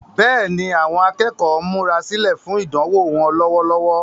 Bẹ́ẹ̀ni, àwọn akẹ́kọ̀ọ́ ń múra sílẹ̀ fún ìdánwò wọn lọ́wọ́lọ́wọ́.